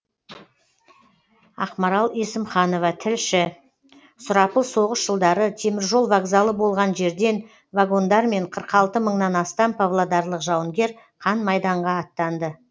ақмарал есімханова тілші сұрапыл соғыс жылдары теміржол вокзалы болған жерден вагондармен қырық алты мыңнан астам павлодарлық жауынгер қан майданға аттанды